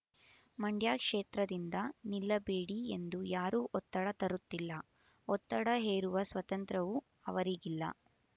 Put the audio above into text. ಮಂಡ್ಯ ಕ್ಷೇತ್ರದಿಂದ ನಿಲ್ಲಬೇಡಿ ಎಂದು ಯಾರೂ ಒತ್ತಡ ತರುತ್ತಿಲ್ಲ ಒತ್ತಡ ಹೇರುವ ಸ್ವಾತಂತ್ರವೂ ಅವರಿಗಿಲ್ಲ